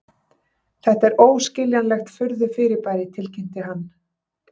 Þetta er óskiljanlegt furðufyrirbæri tilkynnti hann.